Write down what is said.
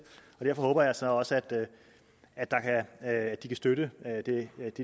og derfor håber jeg så også at de kan støtte det